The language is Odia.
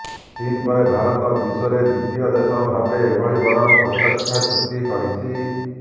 ଚୀନ ପରେ ଭାରତ ବିଶ୍ୱରେ ଦ୍ୱିତୀୟ ଦେଶ ଭାବରେ ଏଭଳି ବଡ ପ୍ରତିରକ୍ଷା ଚୁକ୍ତି କରିଛି